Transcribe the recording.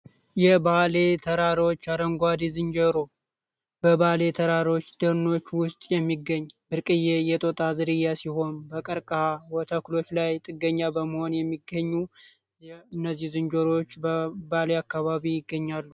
የባሌ ተራሮዎች አረንጓዲ ዝንጀሮ በባሌ ተራሮች ድኖች ውስጥ የሚገኝ ብርቅዬ የጦጣ ዝርያ ሲሆን በቀርቀሃ ተኩሎች ላይ ጥገኛ በመሆን የሚገኙ እነዚህ ዝንጀሮች በባሊ አካባቢ ይገኛሉ።